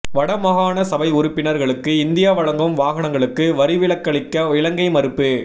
வட மாகாண சபை உறுப்பினர்களுக்கு இந்தியா வழங்கும் வாகனங்களுக்கு வரிவிலக்களிக்க இலங்கை மறுப்பு